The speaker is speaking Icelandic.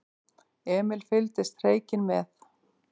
Emil fylgdist hreykinn með.